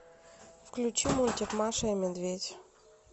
включи мультик маша и медведь